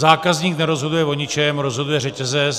Zákazník nerozhoduje o ničem, rozhoduje řetězec.